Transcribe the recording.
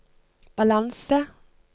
balanse